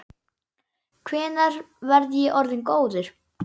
Hvenær verð ég orðinn góður?